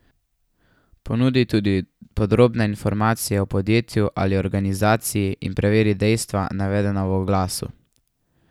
Ponudi tudi podrobne informacije o podjetju ali organizaciji in preveri dejstva, navedena v oglasu.